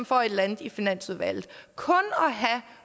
for et eller andet i finansudvalget kun har